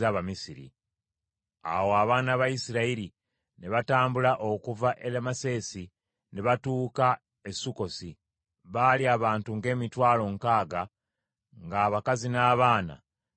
Awo abaana ba Isirayiri ne batambula okuva e Lameseesi ne batuuka e Sukkosi. Baali abantu ng’emitwalo nkaaga, ng’abakazi n’abaana tebabaliddwa.